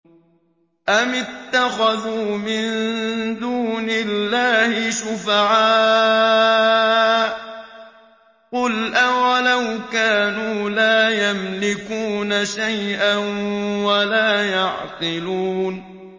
أَمِ اتَّخَذُوا مِن دُونِ اللَّهِ شُفَعَاءَ ۚ قُلْ أَوَلَوْ كَانُوا لَا يَمْلِكُونَ شَيْئًا وَلَا يَعْقِلُونَ